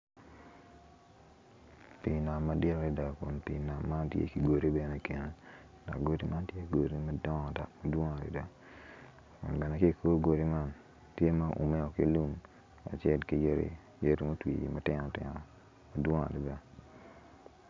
Pii nam madit adada kun pii nam man tye ki godi bene ikine, godi ma tye godi madongo dok gidwong adada kun bene ki ko godi man tye maguume ki lum kacel ki yadi, yadi ma otwi matino tino madwong adada